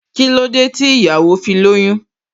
Kílódé tí ìyàwó fi lóyún?